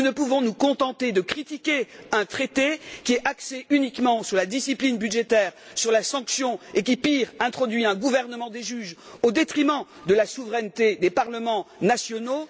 Nous ne pouvons nous contenter de critiquer un traité qui est axé uniquement sur la discipline budgétaire, sur la sanction, et qui, pire, introduit un gouvernement des juges au détriment de la souveraineté des parlements nationaux.